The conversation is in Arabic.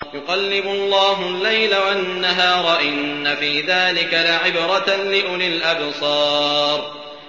يُقَلِّبُ اللَّهُ اللَّيْلَ وَالنَّهَارَ ۚ إِنَّ فِي ذَٰلِكَ لَعِبْرَةً لِّأُولِي الْأَبْصَارِ